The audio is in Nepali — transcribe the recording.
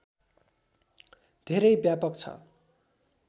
धेरै व्यापक छ